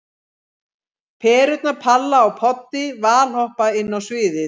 Perurnar Palla og Poddi valhoppa inn á sviðið.